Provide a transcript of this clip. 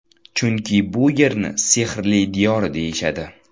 Chunki bu yerni sehrli diyor deyishadi.